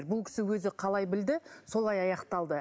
бұл кісі өзі қалай білді солай аяқталды